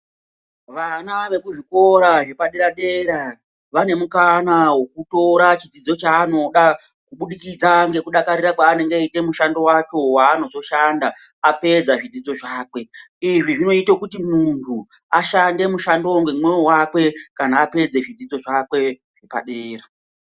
Vana vekuzvikora zvepadera dera vane mukana wekutora zvidzidzo chanoda kubudikidza nekuita mushando wacho wanenge achida kuzoshanda apedza zvidzidzo zvake izvi zvinoita kuti muntu ashande nemoyo wakwe apedza zvidzidzo zvakwe zvepadera.